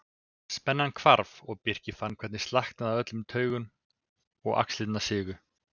Spennan hvarf og Birkir fann hvernig slaknaði á öllum taugum og axlirnar sigu.